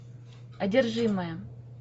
одержимая